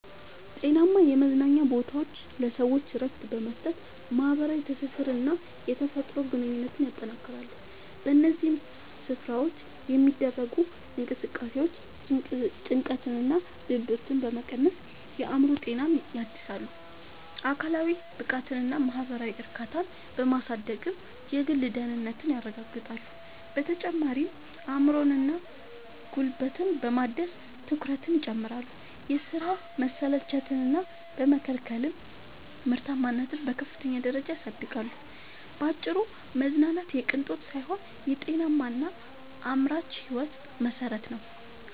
ጤናማ የመዝናኛ ቦታዎች ለሰዎች እረፍት በመስጠት፣ ማኅበራዊ ትስስርንና የተፈጥሮ ግንኙነትን ያጠናክራሉ። በእነዚህ ስፍራዎች የሚደረጉ እንቅስቃሴዎች ጭንቀትንና ድብርትን በመቀነስ የአእምሮ ጤናን ያድሳሉ፤ አካላዊ ብቃትንና ማኅበራዊ እርካታን በማሳደግም የግል ደህንነትን ያረጋግጣሉ። በተጨማሪም አእምሮንና ጉልበትን በማደስ ትኩረትን ይጨምራሉ፤ የሥራ መሰልቸትን በመከላከልም ምርታማነትን በከፍተኛ ደረጃ ያሳድጋሉ። ባጭሩ መዝናናት የቅንጦት ሳይሆን የጤናማና አምራች ሕይወት መሠረት ነው።